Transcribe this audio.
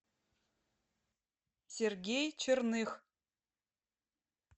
сергей черных